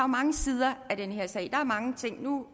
mange sider af den her sag der er mange ting nu